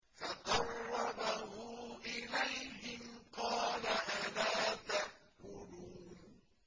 فَقَرَّبَهُ إِلَيْهِمْ قَالَ أَلَا تَأْكُلُونَ